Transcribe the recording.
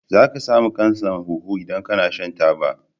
Za ka samu kansan huhu in kana shan taba